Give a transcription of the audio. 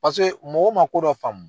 Paseke mɔgɔw ma ko dɔ faamu.